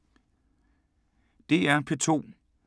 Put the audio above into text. DR P2